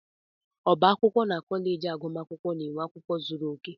Ọbá akwụkwọ na kọleji agụmakwụkwọ na nwe akwụkwọ zuru oke.